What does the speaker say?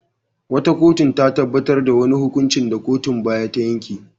Wata kotu ta tabbatar da wani hukuncin da kotun baya ta yanke.